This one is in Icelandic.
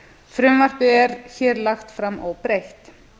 frumvarpi er hér lagt fram óbreytt